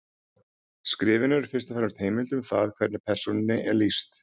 Skrifin eru fyrst og fremst heimild um það hvernig persónunni er lýst.